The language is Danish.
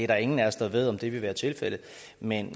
der er ingen af os der ved om det vil være tilfældet men